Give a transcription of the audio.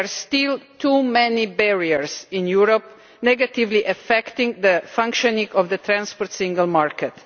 There are still too many barriers in Europe negatively affecting the functioning of the transport single market.